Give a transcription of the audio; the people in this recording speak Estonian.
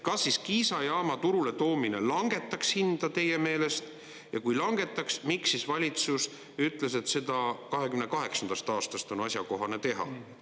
Kas Kiisa jaama turuletoomine langetaks hinda teie meelest, ja kui langetaks, miks siis valitsus ütles, et seda 2028. aastast on asjakohane teha?